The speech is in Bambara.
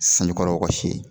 Sanjikɔrɔ wɔsi ye